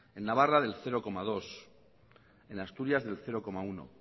en navarra del cero coma dos en asturias del cero coma uno